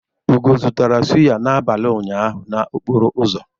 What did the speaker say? Ugo zụtara sụ́yá n'abalị ụnyaahụ n'okporo ụzọ.